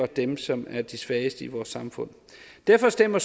dem som er de svageste i vores samfund derfor stemmer